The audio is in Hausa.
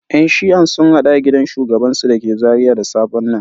Yan shi'a sun hadu a gidan shugabansu da ke Zaria da safen nan.